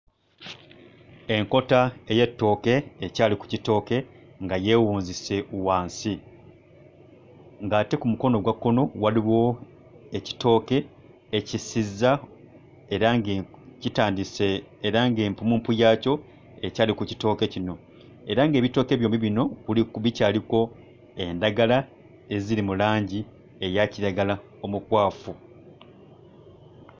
Enkota ey'ettooke ekyali ku kitooke nga yeewunzise wansi, ng'ate ku mukono ogwa kkono waliwo ekitooke ekisizza era nge kitandise era ng'empummumpu yaakyo ekyali ku kitooke kino, era ng'ebitooke byombi bino kuli bikyariko endagala eziri mu langi eya kiragala omukwafu.